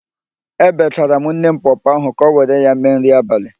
Ebechara m nne m pọọpọọ ahụ ka ọ were ya mee nri abalị.